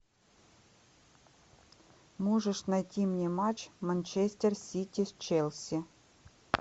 можешь найти мне матч манчестер сити с челси